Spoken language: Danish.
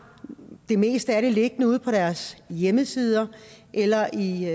det meste af det liggende ude på deres hjemmesider eller i